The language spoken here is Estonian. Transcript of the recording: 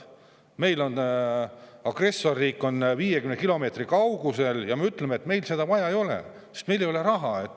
Meil on agressorriik 50 kilomeetri kaugusel ja me ütleme, et meil seda vaja ei ole, sest meil ei ole raha.